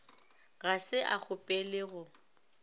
ga se a kgopele go